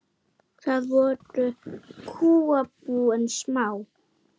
Þá voru kúabúin smá.